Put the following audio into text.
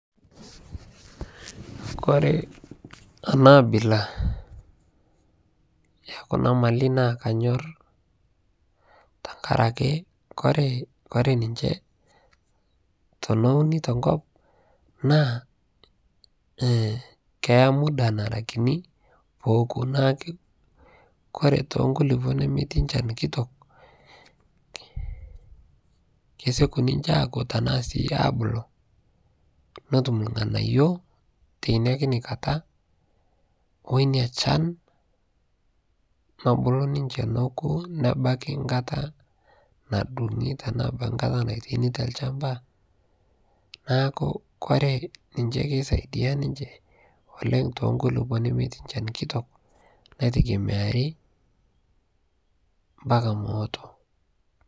kore anaa abilaa ekunaa malii naa kanyor tankarakee kore ninchee tonounii te nkop naa keyaa mudaa naraa kinii pooku kore tonkulipoo nemetii nchan kitok kesekuu ninchee akuu tanaa sii abuluu notum lghanayoo teinia kinii kataa oinia shan nobulu ninshee nokuu nebakii nkataa nadungii tanaa ebakii nkataa naitainii talshampaa naaku kore naaku kore ninshee keisaidia ninshee oleng tonkulipoo nemetii nchan kitok naitegemearii mpakaa mooto